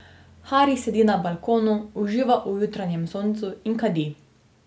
Haris sedi na balkonu, uživa v jutranjem soncu in kadi.